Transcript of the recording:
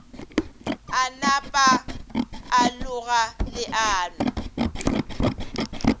a napa a loga leano